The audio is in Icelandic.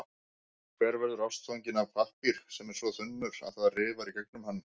Hver verður ástfanginn af pappír sem er svo þunnur, að það rifar í gegnum hann?